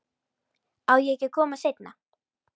Á ég ekki að koma seinna?